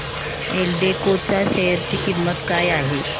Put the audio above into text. एल्डेको च्या शेअर ची किंमत काय आहे